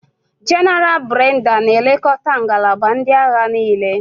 Jéneral Brenda na-elekọta ngalaba ndị agha niile.